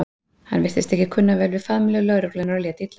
Hann virtist ekki kunna vel við faðmlög lögreglunnar og lét illa.